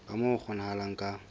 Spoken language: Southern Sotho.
ka moo ho kgonahalang ka